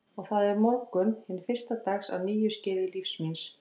Og það er morgunn hins fyrsta dags á nýju skeiði lífs míns.